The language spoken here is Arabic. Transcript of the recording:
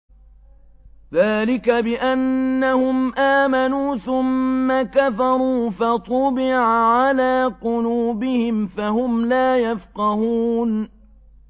ذَٰلِكَ بِأَنَّهُمْ آمَنُوا ثُمَّ كَفَرُوا فَطُبِعَ عَلَىٰ قُلُوبِهِمْ فَهُمْ لَا يَفْقَهُونَ